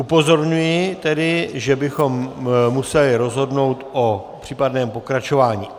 Upozorňuji tedy, že bychom museli rozhodnout o případném pokračování.